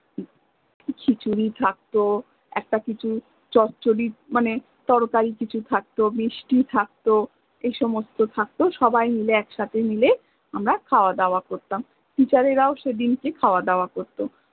খিচুরি থাকত একটা কিছু মানে তরকারি কিছু থাকত, মিষ্টি থাকত এই সমস্ত কিছু থাকত সবাই মিলে একসাথে মিলে আমরা খাওয়া দাওয়া করতাম, teacher এরাও সেদিন্কে খাওয়া দাওয়া করত